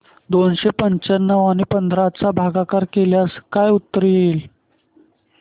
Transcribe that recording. दोनशे पंच्याण्णव आणि पंधरा चा भागाकार केल्यास काय उत्तर येईल